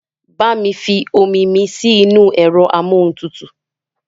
Bá mi fi omi mi sí inú ẹ̀rọ amóhuntutù